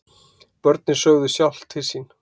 Börnin sögðu sjálf til sín.